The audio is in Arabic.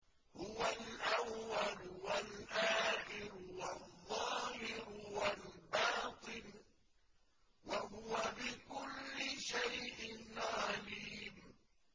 هُوَ الْأَوَّلُ وَالْآخِرُ وَالظَّاهِرُ وَالْبَاطِنُ ۖ وَهُوَ بِكُلِّ شَيْءٍ عَلِيمٌ